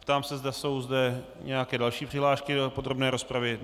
Ptám se, zda jsou zde nějaké další přihlášky do podrobné rozpravy.